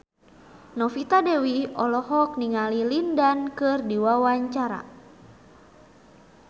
Novita Dewi olohok ningali Lin Dan keur diwawancara